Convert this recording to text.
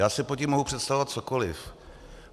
Já si pod tím mohu představovat cokoliv.